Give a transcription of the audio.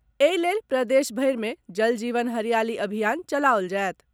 एहि लेल प्रदेश भरि मे जल जीवन हरियाली अभियान चलाओल जायत।